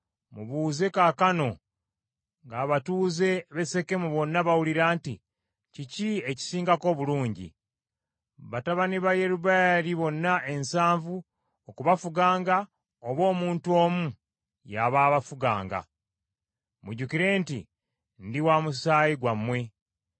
“Mubuuze kaakano ng’abatuuze b’e Sekemu bonna bawulira nti, ‘Kiki ekisingako obulungi? Batabani ba Yerubbaali bonna ensanvu okubafuganga oba omuntu omu y’aba abafuganga?’ Mujjukire nti ndi wa musaayi gwammwe.”